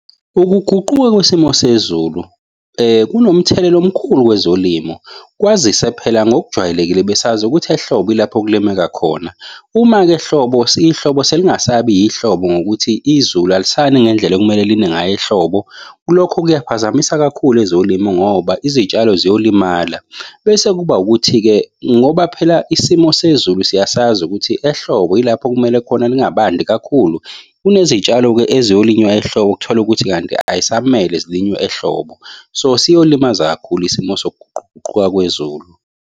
Ukuguquka kwisimo sezulu kunomthelela omkhulu kwezolimo, kwazise phela ngokujwayelekile besazi ukuthi ehlobo ilapho okulimeka khona. Uma-ke ehlobo ihlobo selingasabi ihlobo ngokuthi izulu alisani ngendlela ekumele line ngayo ehlobo. Lokho kuyaphazamisa kakhulu ezolimo ngoba izitshalo ziyolimala. Bese kuba ukuthi-ke ngoba phela isimo sezulu siyasazi ukuthi ehlobo yilapho kumele khona lingabandi kakhulu kunezitshalo-ke eziyolinywa ehlobo uthole ukuthi kanti ayisamele zilinywe ehlobo. So siyolimaza kakhulu isimo sokuguquguquka kwezulu.